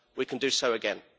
we can do so again.